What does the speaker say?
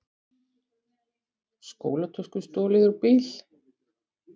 Skólatösku stolið úr bíl